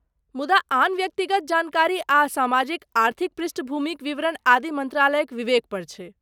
मुदा आन व्यक्तिगत जानकारी आ सामाजिक आर्थिक पृष्ठभूमिक विवरण आदि मन्त्रालयक विवेक पर छैक।